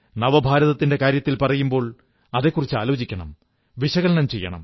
നവഭാരതത്തിന്റെ കാര്യം പറയുമ്പോൾ അതെക്കുറിച്ചാലോചിക്കണം വിശകലനം ചെയ്യണം